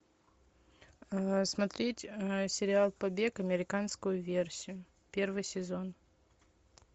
смотреть сериал побег американскую версию первый сезон